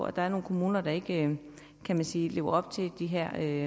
at der er nogle kommuner der ikke kan man sige lever op til det her